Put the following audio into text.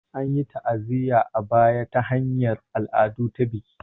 An yi ta'aziyya a baya ta hanyar al'ada ta baki